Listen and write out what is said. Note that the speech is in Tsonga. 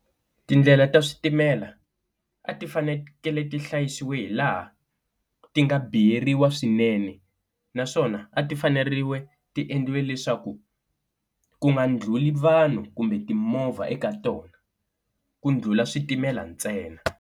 Tindlela ta switimela a ti fanekele ti hlayisiwa hi laha ti nga biyeriwa swinene, naswona a ti fanerile ti endliwe leswaku ku nga ndlhuli vanhu kumbe timovha eka tona ku ndlhula switimela ntsena.